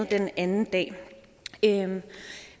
den anden dag